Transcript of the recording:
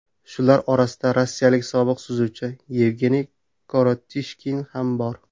Shular orasida rossiyalik sobiq suzuvchi Yevgeniy Korotishkin ham bor.